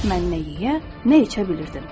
Mən nə yeyə, nə içə bilirdim.